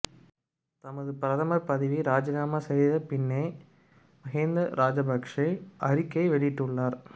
தனது பிரதமர் பதவியை இராஜினாமா செய்த பின்னர் மஹிந்த ராஜபக்ஷ அறிக்கை வெளியிட்டுள்ளார்